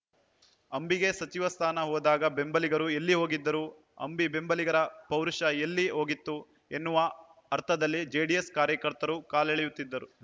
ಅಂಬಿಗೆ ಸಚಿವ ಸ್ಥಾನ ಹೋದಾಗ ಬೆಂಬಲಿಗರು ಎಲ್ಲಿ ಹೋಗಿದ್ದರು ಅಂಬಿ ಬೆಂಬಲಿಗರ ಪೌರುಷ ಎಲ್ಲಿ ಹೋಗಿತ್ತು ಎನ್ನುವ ಅರ್ಥದಲ್ಲಿ ಜೆಡಿಎಸ್‌ ಕಾರ್ಯಕರ್ತರು ಕಾಲೆಳೆಯುತ್ತಿದ್ದಾರು